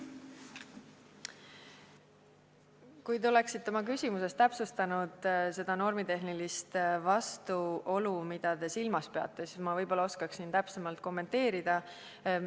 Kui te oleksite oma küsimuses täpsustanud seda normitehnilist vastuolu, mida te silmas peate, siis ma võib-olla oskaksin täpsemalt kommenteerida.